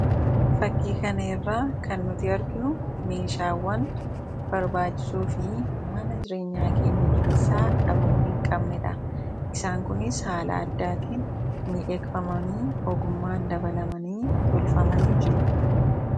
Fakkii kanarraa kan nuti arginu meeshaawwan barbaachisoo fi mana jireenyaa keenya keessaa dhabamuu hin dandeenyedha. Isaan kunis haala addaatiin miidhagfamanii ogummaan dabalamii tolfamanii jiru.